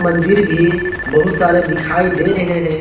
मंदिर भी बहुत सारे दिखाई दे रहे हैं।